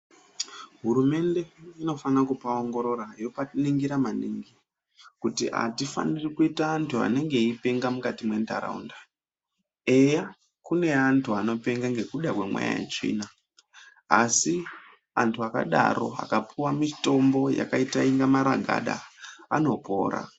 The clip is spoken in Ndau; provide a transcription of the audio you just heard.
Hurumende inofanira kupaongorora yopaningira maningi kuti atifaniri kuita antu anenge eipenga mukati mwentaraunda, eya kune antu anopenga ngekuda kwemweya yetsvina. Asi vantu vakadaro vakapuwa mitombo yakaita inga maragada vanopora.